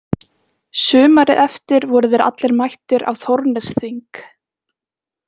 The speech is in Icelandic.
Sumarið eftir voru þeir allir mættir á Þórsnesþing.